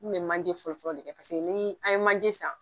N kun bɛ manje fɔlɔfɔlɔ de kɛ paseke ni an ye manje san.